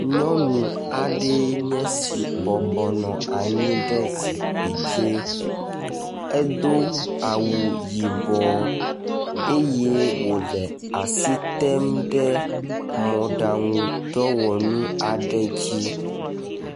Nyɔnu aɖe yenye esi bɔbɔ nɔ anyi ɖe zikpui dzi. Edo awu yibɔ eye wole asi tem ɖe mɔɖɔŋudɔwɔnu aɖe dzi.